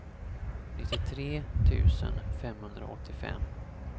nittiotre tusen femhundraåttiofem